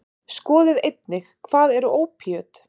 Skoðið einnig: Hvað eru ópíöt?